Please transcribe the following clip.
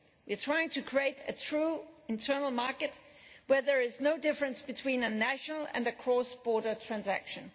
We are trying to create a true internal market where there is no difference between a national and a cross border transaction.